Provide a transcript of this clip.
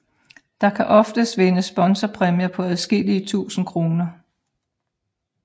Der kan oftest vindes sponsorpræmier på adskillige tusinde kroner